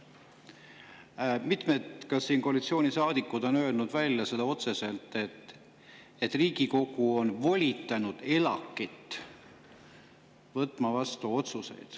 Ka mitmed koalitsioonisaadikud on öelnud otse välja, et Riigikogu on volitanud ELAK‑it otsuseid vastu võtma.